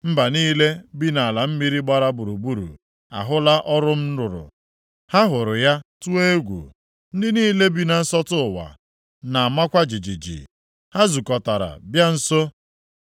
Mba niile bi nʼala mmiri gbara gburugburu ahụla ọrụ m rụrụ. Ha hụrụ ya tụọ egwu; ndị niile bi na nsọtụ ụwa na-amakwa jijiji. Ha zukọtara bịa nso.